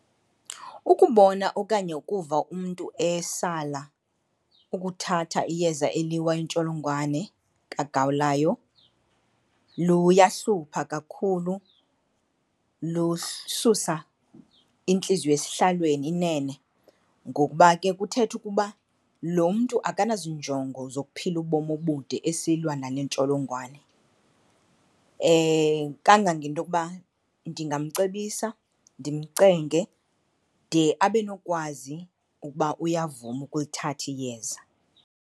Ukubona okanye ukuva umntu esala ukuthatha iyeza eliwa intsholongwane kagawulayo luyahlupha kakhulu, lususa intliziyo esihlalweni inene ngokuba ke kuthetha ukuba lo mntu akanazinjongo zokuphila ubomi obude esilwa nale ntsholongwane. Kangangento okuba ndingamcebisa ndimcenge de abe nokwazi ukuba uyavuma ukulithatha iyeza.